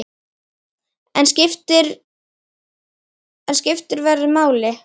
En skiptir veður máli?